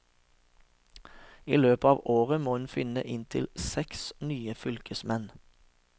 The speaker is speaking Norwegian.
I løpet av året må hun finne inntil seks nye fylkesmenn.